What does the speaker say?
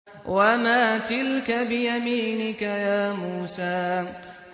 وَمَا تِلْكَ بِيَمِينِكَ يَا مُوسَىٰ